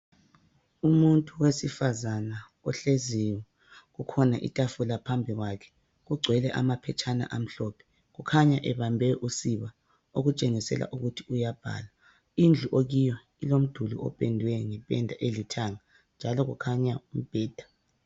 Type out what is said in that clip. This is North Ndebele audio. Owesifazana ohleziyo kukhona itafula phambi kwakhe kugcwele amaphetshana amhlophe kukhanya ebambe usiba okutshengisela ukuthi uyabhala. Indlu okiyo ilomduli opendwe ngependa elithanga njalo kukhanya umbeda